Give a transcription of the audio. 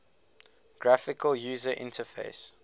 graphical user interface